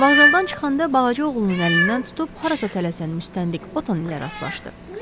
Vağzaldan çıxanda balaca oğlunun əlindən tutub harasa tələsən müstəntiq Oton ilə rastlaşdı.